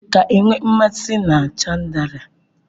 Ị ka nwee nmasị na chandalia?